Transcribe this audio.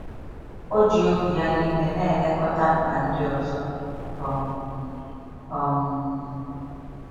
O ji obi ya niile na elekọta mkpa ndị ọzọ. um um